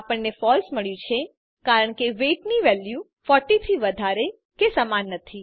આપણને ફળસે મળ્યું છે કારણ કે વેઇટ ની વેલ્યુ 40 થી વધારે કે સમાન નથી